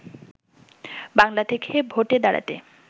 বাংলা থেকে ভোটে দাঁড়াতে